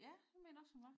Ja det mener jeg også hun var